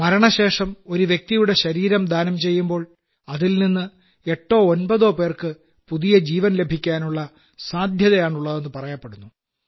മരണശേഷം ഒരു വ്യക്തിയുടെ ശരീരം ദാനം ചെയ്യുമ്പോൾ അതിൽനിന്ന് എട്ടോ ഒൻപതോ പേർക്ക് പുതിയ ജീവൻ ലഭിക്കാനുള്ള സാദ്ധ്യതയാണുള്ളതെന്ന് പറയപ്പെടുന്നു